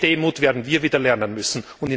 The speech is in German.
Diese Demut werden wir wieder lernen müssen.